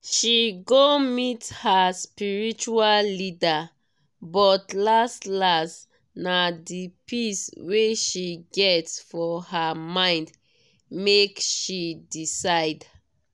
she go meet her spiritual leader but las-las na di peace wey she get for her mind make she decide.